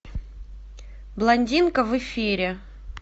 блондинка в эфире